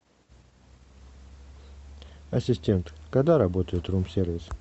ассистент когда работает рум сервис